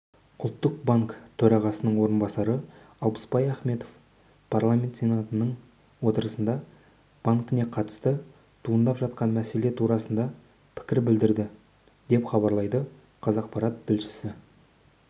ұлттық банкі төрағасының орынбасары алпысбай ахметов парламент сенатының отырысында банкіне қатысты туындап жатқан мәселе турасында пікір білдірді деп хабарлайды қазақпарат тілшісі